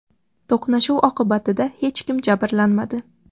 To‘qnashuv oqibatida hech kim jabrlanmadi.